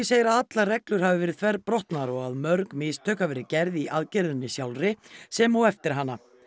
segir að allar reglur hafi verið þverbrotnar og að mörg mistök hafi verið gerð í aðgerðinni sjálfri sem og eftir hana